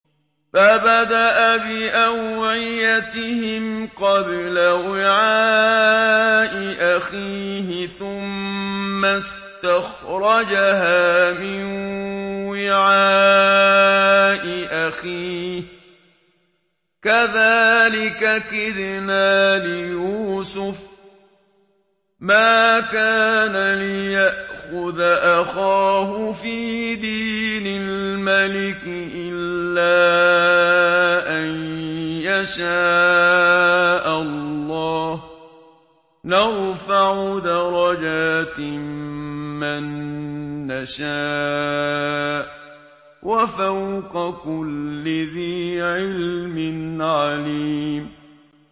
فَبَدَأَ بِأَوْعِيَتِهِمْ قَبْلَ وِعَاءِ أَخِيهِ ثُمَّ اسْتَخْرَجَهَا مِن وِعَاءِ أَخِيهِ ۚ كَذَٰلِكَ كِدْنَا لِيُوسُفَ ۖ مَا كَانَ لِيَأْخُذَ أَخَاهُ فِي دِينِ الْمَلِكِ إِلَّا أَن يَشَاءَ اللَّهُ ۚ نَرْفَعُ دَرَجَاتٍ مَّن نَّشَاءُ ۗ وَفَوْقَ كُلِّ ذِي عِلْمٍ عَلِيمٌ